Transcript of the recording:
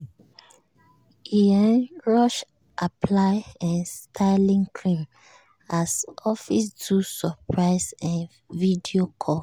e um rush apply um styling cream as office do surprise um video call.